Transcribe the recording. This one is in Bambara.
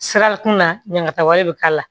Sirakun na ɲagataw bi k'a la